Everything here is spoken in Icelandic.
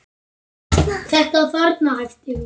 Þetta þarna, æpti hún.